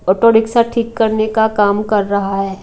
Auto rickshaw ठीक करने का काम कर रहा है।